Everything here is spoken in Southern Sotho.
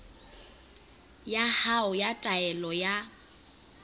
ya hao ya taelo ya